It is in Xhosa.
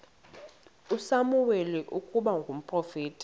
usamuweli ukuba ngumprofeti